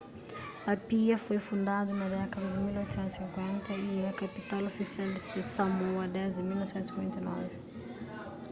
apia foi fundadu na dékada di 1850 y é kapital ofisial di samoa desdi 1959